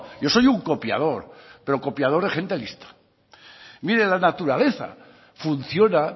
yo soy un copiador pero copiador de gente lista mire la naturaleza funciona